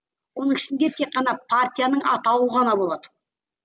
оның ішінде тек қана партияның атауы ғана болады